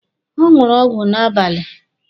Ọ ṅụrụ ọgwụ n'abalị.